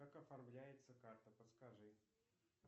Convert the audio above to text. как оформляется карта подскажи